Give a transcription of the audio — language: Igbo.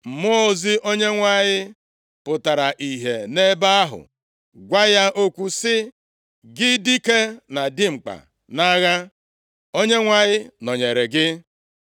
Mmụọ ozi Onyenwe anyị pụtara ihe nʼebe ahụ gwa ya okwu sị, “Gị dike na dimkpa nʼagha, Onyenwe anyị nọnyeere gị.”